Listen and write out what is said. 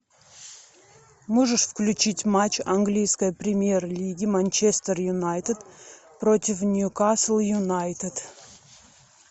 можешь включить матч английской премьер лиги манчестер юнайтед против ньюкасл юнайтед